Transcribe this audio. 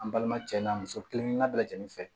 An balima cɛla muso kelenkelen bɛɛ lajɛlen fɛ